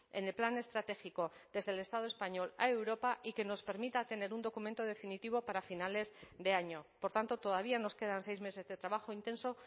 en el plan estratégico desde el estado español a europa y que nos permita tener un documento definitivo para finales de año por tanto todavía nos quedan seis meses de trabajo intenso